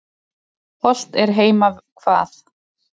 Hollt er heima hvað.